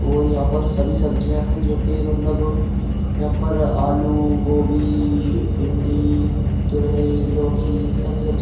और यहाँ पर सभी सब्जियां हैं जो कि मतलब यहां पर आलू गोभी भिंडी तुरई लौखी सब सब्जि --